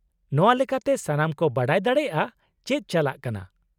-ᱱᱚᱶᱟ ᱞᱮᱠᱟᱛᱮ ᱥᱟᱱᱟᱢ ᱠᱚ ᱵᱟᱰᱟᱭ ᱫᱟᱲᱮᱭᱟᱜᱼᱟ ᱪᱮᱫ ᱪᱟᱞᱟᱜ ᱠᱟᱱᱟ ᱾